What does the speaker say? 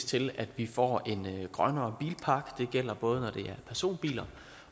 til at vi får en grønnere bilpark det gælder både når det personbiler